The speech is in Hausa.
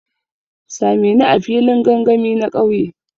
Sa me ni a filin gangami na kauye.